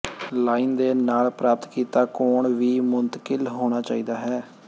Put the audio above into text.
line ਦੇ ਨਾਲ ਪ੍ਰਾਪਤ ਕੀਤਾ ਕੋਣ ਵੀ ਮੁੰਤਕਿਲ ਹੋਣਾ ਚਾਹੀਦਾ ਹੈ